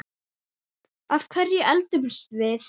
Af hverju eldumst við?